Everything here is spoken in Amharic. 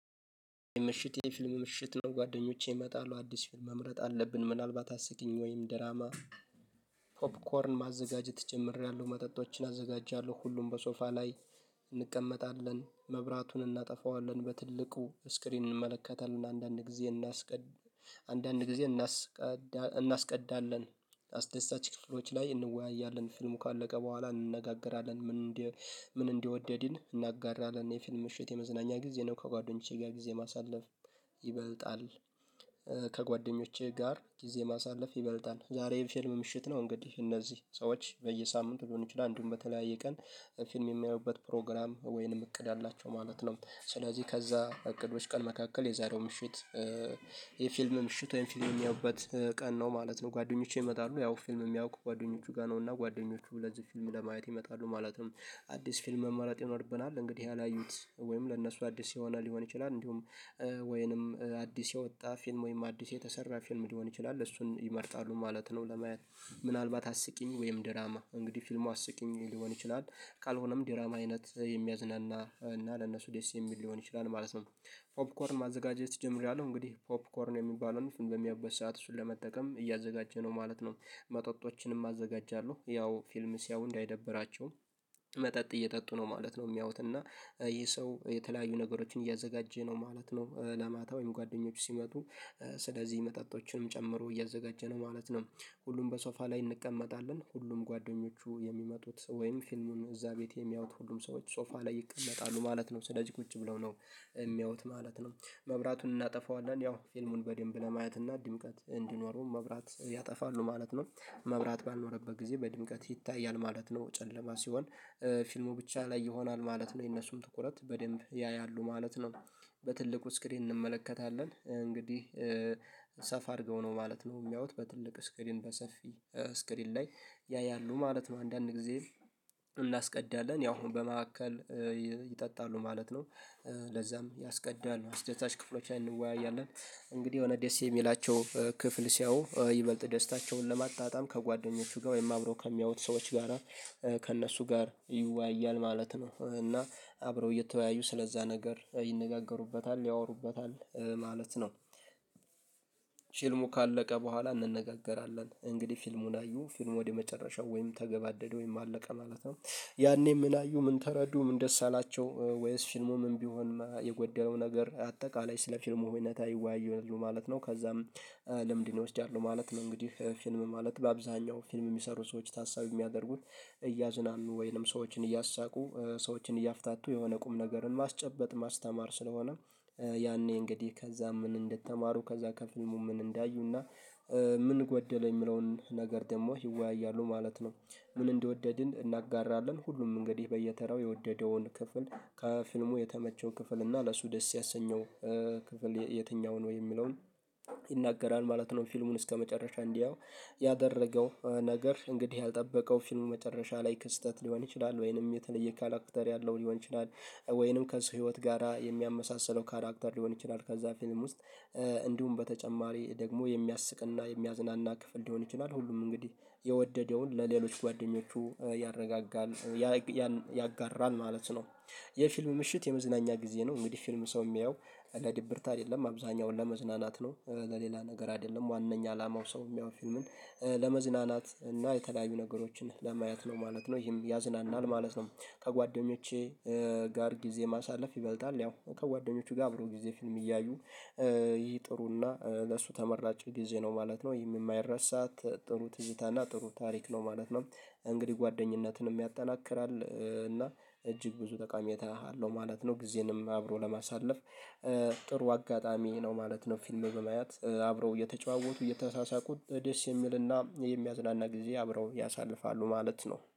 ምሽት የፊልም ምሽት ነው። ጓደኞቼ ይመጣሉ አዲስ መምረጥ አለብን ምናልባት አስጊኝ ወይም ደራማ። ፖፕኮርን ማዘጋጀት ጨምሬያለሁ መጠጦችን አዘጋጃለሁ ሁሉም በሶፋ ላይ እንቀመጣለን መብራቱን እናጠፋዋለን። በትልቁ ስክሪን እንመለከታለን አንዳንድ ጊዜ እናስቀድ አንዳንድ ጊዜ እናስቀድ እናስቀድላለን አስደሳች ክፍሎች ላይ እንወያያለን። ፊልሙ ካለቀ በኋላ እንነጋገራለን ምን እንደ ምን እንደወደድን እናጋራለን። የፊልም ምሽት የመዝናኛ ጊዜ ነው። ከጓደኞቼ ጋር ጊዜ ማሳለፍ ይበልጣል። ጋር ጊዜ ማሳለፍ ይበልጣል ዛሬ ብሸልም ምሽት ነው። እንግዲህ እነዚህ ሰዎች በየሳምንቱ ሊሆን ይችላል አንዱን በተለያየ ቀን ፊልም የሚያዩበት ፕሮግራም ወይንም እቅድ አላቸው ማለት ነው። ስለዚህ ከዛ እቅዶች ቀን መካከል የዛሬው ምሽት የፊልም ምሽት ወይም ፊልም የሚያዩበት ቀን ነው ማለት ነው። ከጓደኞቼ ይመጣሉ ያው ፊልም የሚያውቁ ጓደኞቹ ጋር ነው። እና ጓደኞቹ ለዚህ ፊልም ለማየት ይመጣሉ ማለትም አዲስ ፊልም መማላት ይኖርብናል። እንግዲህ ያላዩት ወይም ለነሱ አዲስ ሲሆን ሊሆን ይችላል እንዲሁም አዲስ የወጣ ፊልም ወይንም አዲስ የተሰራ ፊልም ሊሆን ይችላል እሱን ይመርጣሉ ማለት ነው። ለመያዝ ምናልባት አስቂኝ ወይም ድራማ እንግዲህ ፊልሙ አስቂኝ ሊሆን ይችላል። ካልሆነም ዲራማ አይነት የሚያዝናና እና ለነሱ ደስ የሚል ሊሆን ይችላል ማለት ነው። ፖፕኮርን ማዘጋጀት ጀምሬያለሁ እንግዲህ ፖፕኮርን የሚባለውን በሚያበሳት እሱን ለመጠቀም እያዘጋጀ ነው ማለት ነው። መጠጦችንም አዘጋጃለሁ ያው ፊልምስ ያው እንዳይደብራቸውም መጠጥ እየጠጡ ነው ማለት ነው የሚያዩት እና። ይሄ ሰው የተለያዩ ነገሮችን እያዘጋጀ ነው ማለት ነው። ለማታ ወይም ጓደኞቹ ሲመጡ ስለዚህ መጣጣቶችንም ጨምሮ እያዘጋጀነ ማለት ነው። ሁሉም በሶፋ ላይ እንቀመጣለን ሁሉም ጓደኞቹ የሚመጡት ወይም ፊልሙን እዛ ቤት የሚያዩት ሁሉም ሰዎች ጾፋ ላይ ይቀመጣሉ ማለት ነው ስለዚህ ቁጭ ብለው ነው የሚያዩት ማለት ነው። መብራቱን እናጠፋዋለን ያው ፊልሙን በደንብ ለማየት እና ድምቀት እንዲኖረው መብራት ያጠፋሉ ማለት ነው። መብራት ባኖረበት ጊዜ በድምቀት ይታያል ማለት ነው ጨለማ ሲሆን ፊልሙ ብቻ ላይ ይሆናል ማለት ነው የነሱም ትኩረት በደንብ ያያሉ ማለት ነው። በትልቁ ስክሪን እንመለከታለን እንግዲህ ሰፋ አድርገው ነው ማለት ነው የሚያዩት በትልቅ ስክሪን በሰፊ ስክሪን ላይ ያያሉ ማለት ነው። አንዳንድ ጊዜ እናስቀዳለን ያው አሁን በመካከል ይጠጣሉ ማለት ነው። ለዛም ያስቀዳሉ አስደታች ክፍሎች ላይ እንወያያለን። እንግዲህ የሆነ ደሴ የሚላቸው ክፍል ሲያው ይበልጥ ደስታቸውን ከጓደኞቹ ጋር ወይም አብሮ ከሚያዩት ሰዎች ጋራ ከእነሱ ጋር ይወያያል ማለት ነው እና አብረው እየተወያዩ ስለዛ ነገር ይነጋገሩበታል ያወሩበታል ማለት ነው። ካለቀ በኋላ እንነጋገራለን እንግዲህ ፊልሙን አዩ ፊልሙ ወደ መጨረሻው ወይም ተገባደደ ወይም አለቀ ማለት ነው። ያኔ ምን አዩ ምን ተረዱ ምን ደስ አላቸው ወይስ ፊልሙ ምን ቢሆን የጎደለው ነገር አጠቃላይ ስለ ፊልሙ ህይወታ ይወያዩልን ማለት ነው። ከዛም ለምንድነው እወስዳለሁ ማለት ነው? እንግዲህ ፊልም ማለት በአብዛኛው ፊልም የሚሰሩ ሰዎች ታሳቢ የሚያደርጉት እያዝናኑ ወይንም ሰዎችን እያሳቁ ሰዎችን እያፍታቱ የሆነ ቁም ነገርን ማስጨበጥ ማስተማር ስለሆነ። ያኔ እንግዲህ ከዛ ምን እንደተማሩ ከዛ ከፊልሙ ምን እንዳዩና ምን ጎደለ የሚለውን ነገር ደግሞ ይወያያሉ ማለት ነው። ምን እንደወደድን እናጋራለን። ሁሉም እንግዲህ በየተራው የወደደውን ክፍል ከፊልሙ የተመቸው ክፍል እና ለሱ ደስ ያሰኘው ክፍል የትኛው ነው የሚለውን ይናገራል ማለት ነው። ፊልሙን እስከመጨረሻ እንዲያው ያደረገው ነገር እንግዲህ ያልጠበቀው ፊልም መጨረሻ ላይ ክስተት ሊሆን ይችላል። ነገር የለም እንደዚህ አይነት ህይወት ነው የሚያመሳስለው ካራክተር ሊሆን ይችላል። ከዛ ፊልም ውስጥ እንዲሁም በተጨማሪ ደግሞ የሚያስቅና የሚያዝናና ክፍል ሊሆን ይችላል። ሁሉም እንግዲህ የወደደውን ለሌሎች ጓደኞቹ ያረጋጋል ያጋራል ማለት ነው። የፊልም ምሽት የመዝናኛ ጊዜ ነው። እንግዲህ ፊልም ሰው የሚያየው ለድብርት አይደለም አብዛኛውን ለመዝናናት ነው። ለሌላ ነገር አይደለም ዋናኛ አላማው ሰው የሚያወር ፊልምን ለመዝናናት እና የተለያዩ ነገሮችን ለማየት ነው ማለት ነው። ይሄም ያዝናናል ማለት ነው። ከጓደኞቼ ጋር ጊዜ ማሳለፍ ይበልጣል። ያው ከጓደኞቹ ጋር አብሮ ጊዜ ፊልም እያዩ ይሄ ጥሩና ለሱ ተመራጭ ጊዜ ነው ማለት ነው። የማይረሳት ጥሩ ትዝታና ጥሩ ታሪክ ነው ማለት ነው። እንግዲህ ጓደኝነትንም ያጠናክራል እና እጅግ ብዙ ጠቃሚ እተናሃለሁ ማለት ነው። ጊዜንም አብሮ ለማሳለፍ ጥሩ አጋጣሚ ነው ማለት ነው። ፊልም በማየት አብረው እየተጨዋወቱ እየተሳሳቁት ደስ የሚልና የሚያዝናና ጊዜ አብረው ያሳልፋሉ ማለት ነው